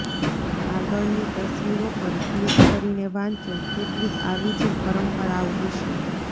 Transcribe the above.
આગળની તસ્વીરો પર ક્લિક કરીને વાંચો કેટલીક આવી જ પરંપરાઓ વિશે